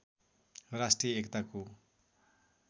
राष्ट्रिय एकताको